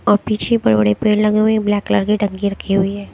और पीछे बड़े-बड़े पेड़ लगे हुए है ब्लैक कलर की टंकी राखी हुई है।